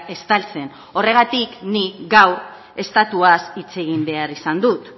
estaltzen horregatik ni gaur estatuaz hitz egin behar izan dut